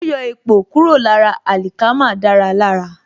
Yíyọ èpò kúrò lára àlìkámà dára lára